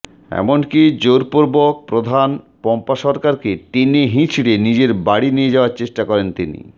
এমনকি জোরপূর্বক প্রধান পম্পা সরকারকে টেনে হিঁচড়ে নিজের বাড়ি নিয়ে যাওয়ার চেষ্টা করেন তিনি